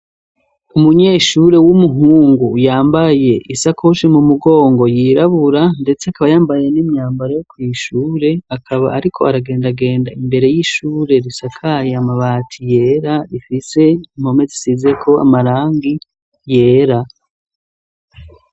Umunyeshure, w'umuhungu, yambaye isakoshi mu mugongo, yirabura, ndetse akaba yambaye n'imyambara yo kw'ishure; akaba ariko aragendagenda, imbere y'ishure, risakaye amabati yera, rifise impome zisizeko amarangi yera.